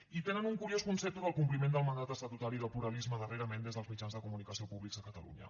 i tenen un curiós concepte del compliment del mandat estatutari del pluralisme darrerament des dels mitjans de comunicació públics de catalunya